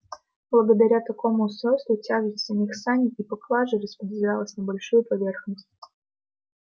благодаря такому устройству тяжесть самих саней и поклажи распределялась на большую поверхность